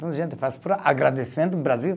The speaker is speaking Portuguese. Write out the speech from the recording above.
Então, a gente faz por agradecendo Brasil.